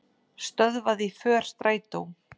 Stöðvaði för strætó